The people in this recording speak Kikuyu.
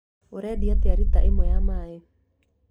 Ũrendia atĩa rita ĩmwe ya maaĩ?